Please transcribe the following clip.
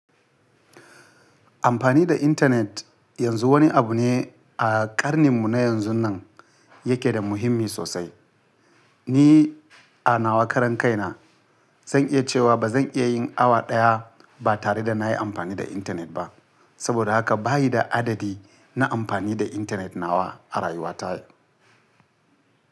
Amfani da intanet yanzu wani abu ne a karninmu na yanzun nan yake da muhimmi sosai. Ni a nawa karan kai na zan iya cewa ba zan iya yin awa daya ba tare da na yi amfani da intanet ba. Saboda haka bayi da adadi na amfani da intanet nawa a rayuwa ta.